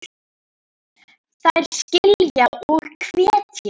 Þær skilja og hvetja.